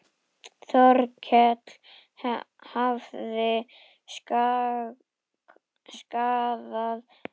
Þórkell hafði skaðað.